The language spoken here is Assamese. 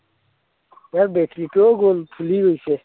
অলপ বেছিকৈও গল, ফুলি গৈছে।